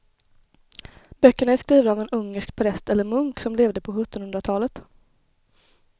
Böckerna är skrivna av en ungersk präst eller munk som levde på sjuttonhundratalet.